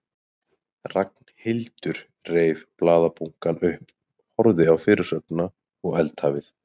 Ragnhildur reif blaðabunkann upp, horfði á fyrirsögnina og eldhafið.